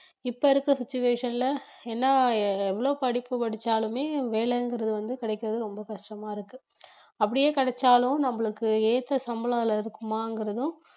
இப்ப இருக்க situation ல என்ன எவ்ளோ படிப்பு படிச்சாலுமே வேலைங்கறது வந்து கிடக்கிறது ரொம்ப கஷ்டமா இருக்கு அப்படியே கிடைச்சாலும் நம்மளுக்கு ஏத்த சம்பளம் அதுல இருக்குமாங்கிறதும்